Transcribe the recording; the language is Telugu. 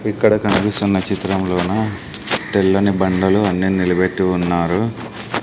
ఇక్కడ కనిపిస్తున్న చిత్రంలోన తెల్లని బండలు అన్ని నిలబెట్టి ఉన్నారు.